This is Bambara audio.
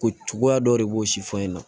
Ko cogoya dɔ de b'o si fɔ in na